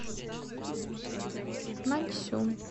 наньсюн